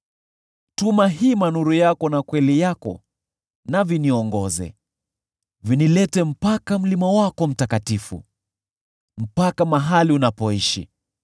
Tuma hima nuru yako na kweli yako na viniongoze; vinilete mpaka mlima wako mtakatifu, mpaka mahali unapoishi.